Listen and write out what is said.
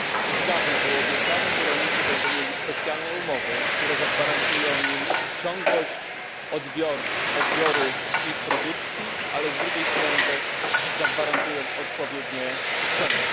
Już dawno obiecano, że rolnicy będą mieli specjalne umowy, które zagwarantują im ciągłość odbioru produkcji, ale z drugiej strony też zagwarantują odpowiednie ceny.